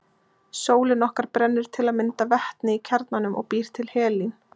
Sólin okkar brennir til að mynda vetni í kjarnanum og býr til helín.